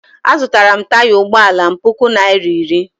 Azụtara m taya ụgbọala m puku naira iri